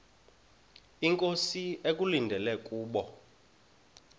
inkosi ekulindele kubo